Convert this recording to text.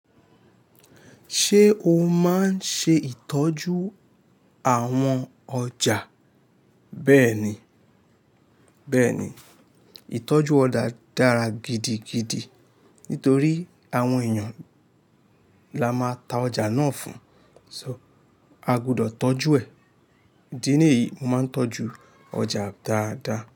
Ṣé o máa ń ṣe ìtọ́jú àwọn ọjà? Bẹ́ẹ̀ni, bẹ́ẹ̀ni, ìtọ́jú ọjà dára gidigidi nítorí àwọn èèyàn la máa ta ọjà náà fún, so a gbọdọ̀ tọ́jú ẹ̀. Idí ní èyí, mo máa ń tọ́jú ọjà dáadáa.